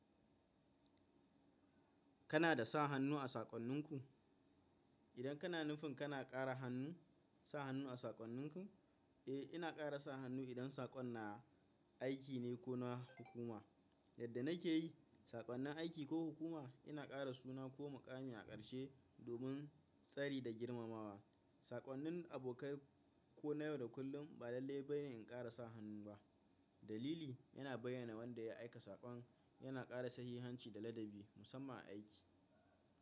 Kana da sa hannu a saƙonninku? Idan kana nufin kana ƙara sa hannu a saƙonninku? Eh, ina ƙara sa hannu idan saƙon na aiki ne ko na hukuma. Yadda na ke yi, saƙonnin aiki ko hukuma ina ƙara suna ko muƙami a ƙarshe domin tsari da girmamawa. Saƙonnin abokai ko na yau da kullum ba lallai bane in ƙara sa hannu ba. Dalili yana bayyana wanda ya aika saƙon, yana ƙara sahihanci da ladabi, musamman a aiki.